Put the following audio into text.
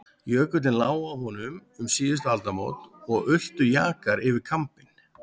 Jökullinn lá á honum um síðustu aldamót og ultu jakar yfir kambinn.